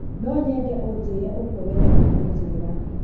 Nonyende ũnjire ũguo wendaga kũnjira.